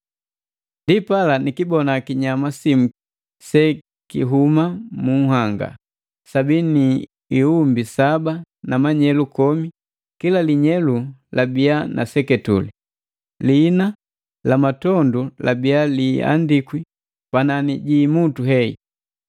Ndipala nikibona kinyama simu sekihuma mu nhanga. Sabii ni imutu saba na manyelu komi, kila linyelu labiya na seketule. Liina la matondu labiya liiandikwi panani ji imutu heyi.